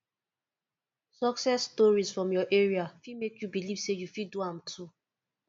success stories from your area fit make you believe say you fit do am too